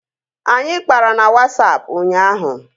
Anyị kpara na Wasapụ ụnyaahụ